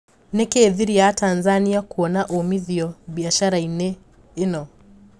Nikii thiri ya Tanzania kuona umithio biacara-inĩ ino?